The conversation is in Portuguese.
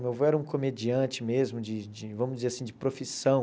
Meu avô era um comediante mesmo, de de vamos dizer assim, de profissão.